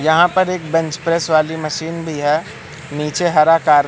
यहाँ पर एक बेंच प्रेस वाली मशीन भी हैं नीचे हरा टार--